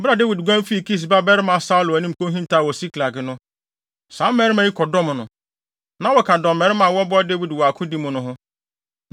Bere a Dawid guan fii Kis babarima Saulo anim kohintaw wɔ Siklag no, saa mmarima yi kɔdɔm no. Na wɔka dɔmmarima a wɔboa Dawid wɔ akodi mu no ho.